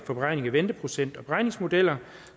for beregning af venteprocent og beregningsmodeller